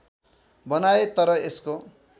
बनाए तर यसको